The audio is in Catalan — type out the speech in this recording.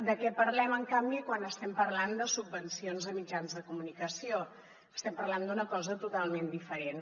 de què parlem en canvi quan estem parlant de subvencions a mitjans de comunicació estem parlant d’una cosa totalment diferent